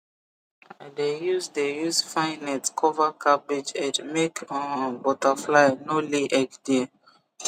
i dey use dey use fine net cover cabbage head make um butterfly no lay egg there